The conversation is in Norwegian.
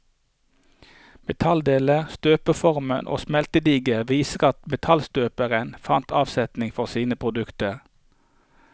Metalldeler, støpeformer og smeltedigler viser at metallstøpere fant avsetning for sine produkter.